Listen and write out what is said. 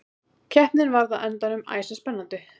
Keppnin varð á endanum æsispennandi.